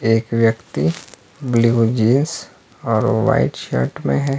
एक व्यक्ती blue jeans और व्हाइट शर्ट में है।